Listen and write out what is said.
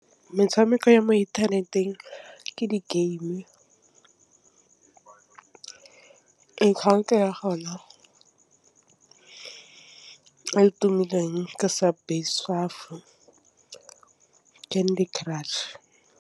Metshameko ya mo inthaneteng ke di-game ya gona e tumileng ke , Candy Crush.